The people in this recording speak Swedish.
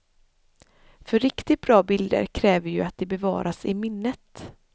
För riktigt bra bilder kräver ju att de bevaras i minnet.